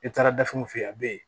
Ne taara dafɛnw fɛ a be yen